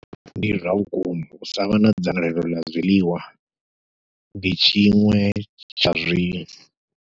Ndi zwa vhukuma u savha na dzangalelo ḽa zwiḽiwa ndi tshiṅwe tsha zwi.